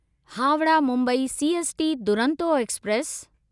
Howrah Mumbai CST Duronto express